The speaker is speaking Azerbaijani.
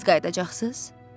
Tez qayıdacaqsız?